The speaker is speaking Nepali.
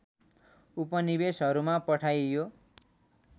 उपनिवेशहरूमा पठाइयो